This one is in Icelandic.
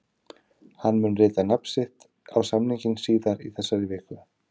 Hann mun rita nafn sitt á samninginn síðar í þessari viku.